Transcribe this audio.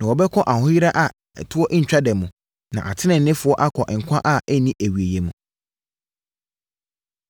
“Na wɔbɛkɔ ahoyera a ɛtoɔ ntwa da mu, na ateneneefoɔ akɔ nkwa a ɛnni awieeɛ mu.”